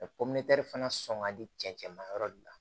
fana sɔn ka di cɛncɛn ma yɔrɔ de la